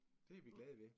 Det vi glade ved